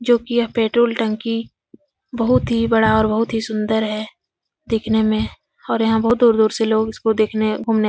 जो कि यह पेट्रोल टंकी बहुत ही बड़ा और बहुत ही सुंदर है दिखने में और यहाँ बहुत दूर-दूर से लोग इसको देखने घूमने --